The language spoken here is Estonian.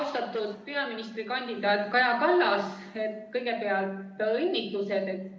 Austatud peaministrikandidaat Kaja Kallas, kõigepealt õnnitlused!